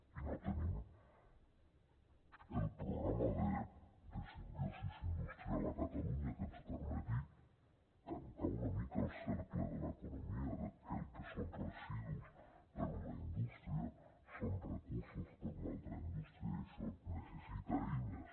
i no tenim el programa de simbiosi industrial a catalunya que ens permeti tancar una mica el cercle de l’economia que el que són residus per a una indústria són recursos per a una altra indústria i això necessita eines